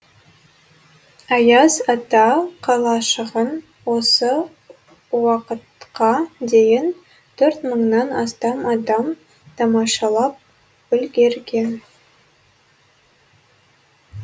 аяз ата қалашығын осы уақытқа дейін төрт мыңнан астам адам тамашалап үлгерген